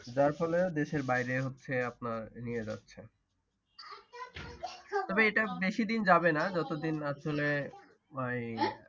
যার ফলে দেশের বাহিরে হচ্ছে আপনার নিয়ে যাচ্ছে। তবে এটা বেশি দিন যাবে না যত দিন আসলে ওই।